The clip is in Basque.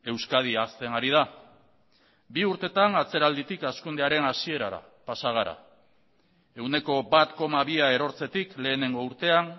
euskadi hazten ari da bi urtetan atzeralditik hazkundearen hasierara pasa gara ehuneko bat koma bia erortzetik lehenengo urtean